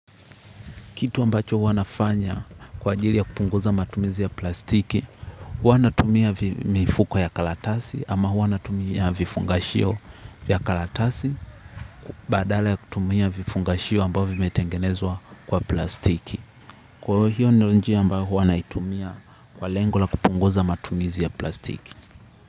Kitu ambacho huwa nafanya kwa ajili ya kupunguza matumizi ya plastiki, huwa natumia mifuko ya karatasi ama huwa natumia vifungashio vya karatasi badala ya kutumia vifungashio ambao vimetengenezwa kwa plastiki. Kwa hiyo ndio njia ambayo huwa naitumia kwa lengo la kupunguza matumizi ya plastiki.